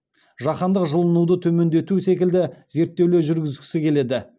жаһандық жылынуды төмендету секілді зерттеулер жүргізгісі келеді